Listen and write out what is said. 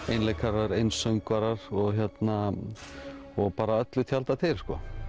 einleikarar einsöngvarar og hérna bara öllu tjaldað til